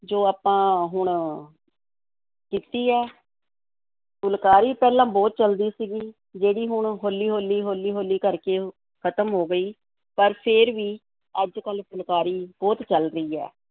ਜੋ ਆਪਾਂ ਹੁਣ ਕੀਤੀ ਹੈ ਫੁਲਕਾਰੀ ਪਹਿਲਾਂ ਬਹੁਤ ਚੱਲਦੀ ਸੀਗੀ, ਜਿਹੜੀ ਹੁਣ ਹੌਲੀ-ਹੌਲੀ, ਹੌਲੀ-ਹੌਲੀ ਕਰਕੇ ਖਤਮ ਹੋ ਗਈ, ਪਰ ਫੇਰ ਵੀ ਅੱਜ-ਕੱਲ੍ਹ ਫੁਲਕਾਰੀ ਬਹੁਤ ਚੱਲ ਰਹੀ ਹੈ,